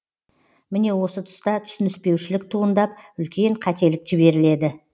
міне осы тұста түсініспеушілік туындап үлкен қателік жіберіледі